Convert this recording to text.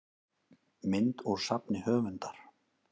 mynd úr safni höfundar